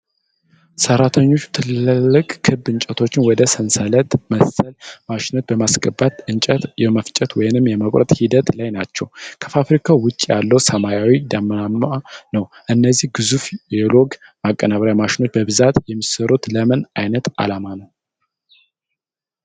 ሠራተኞቹ ትላልቅ ክብ እንጨቶችን ወደ ሰንሰለት መሰል ማሽኖች በማስገባት እንጨት የመፍጨት ወይም የመቁረጥ ሂደት ላይ ናቸው። ከፋብሪካው ውጪ ያለው ሰማይ ደመናማ ነው። እነዚህ ግዙፍ የሎግ ማቀነባበሪያ ማሽኖች በብዛት የሚሠሩት ለምን ዓይነት ዓላማ ነው?